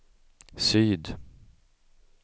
syd